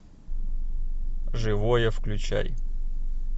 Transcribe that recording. живое включай